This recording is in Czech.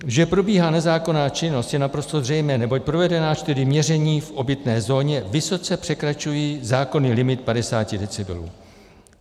Že probíhá nezákonná činnost, je naprosto zřejmé, neboť provedená čtyři měření v obytné zóně vysoce překračují zákonný limit 50 decibelů.